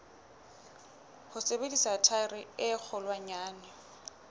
ho sebedisa thaere e kgolwanyane